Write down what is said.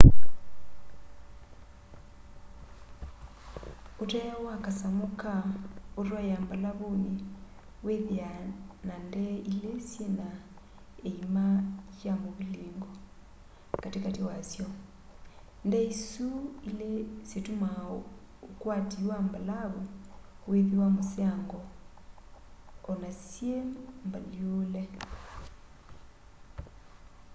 ũtee wa kasamũ ka ũtwaĩa mbalavunĩ wĩthĩaa na ndee ilĩ syĩna ĩima ya mũvilingo katĩ katĩ wa sy'o ndee isu ilĩ situmaa ũkwati wa mbalavu wĩthĩwa mũseango o na syĩ mbalyũũle